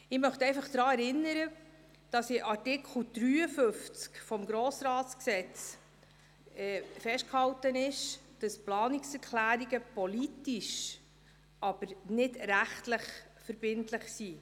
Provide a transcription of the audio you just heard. Ich möchte einfach daran erinnern, dass in Artikel 53 des Gesetzes über den Grossen Rat (Grossratsgesetz, GRG) festgehalten ist, dass Planungserklärungen politisch, aber nicht rechtlich verbindlich sind.